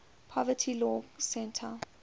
poverty law center